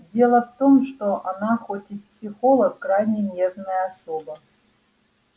дело в том что она хоть и психолог крайне нервная особа